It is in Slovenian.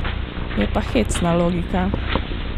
Je pa hecna logika.